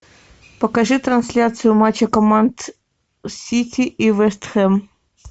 покажи трансляцию матча команд сити и вест хэм